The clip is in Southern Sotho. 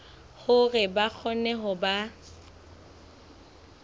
hore ba kgone ho ba